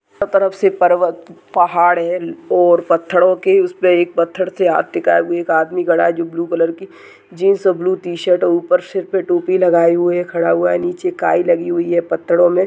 हर तरफ से पर्वत पहाड़ है और पत्थरो के उसमे एक पत्थर से हाथ टिकाये हुए एक आदमी खड़ा है जो ब्लू कलर के जिन्स और ब्लू टी-शर्ट और ऊपर से टोपी लगाईं हुए खड़ा हुआ है और नीचे काई लगी हुई है पत्थरों में।